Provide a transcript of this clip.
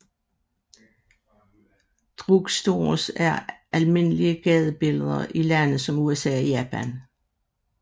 Drugstores er almindelige i gadebilledet i lande som USA og Japan